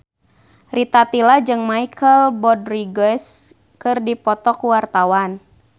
Rita Tila jeung Michelle Rodriguez keur dipoto ku wartawan